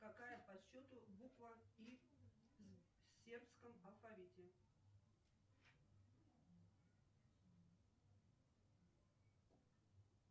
какая по счету буква и в сербском алфавите